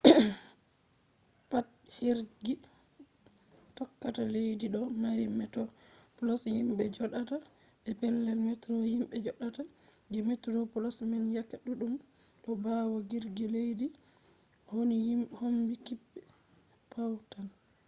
pat jirgi tokkata leddi ɗo mari metoplos himɓe joɗata be pellel metro himɓe joɗata; je metro plos man yake ɗuɗɗum ɗo ɓawo jirgi leddi woni kombi kep tawn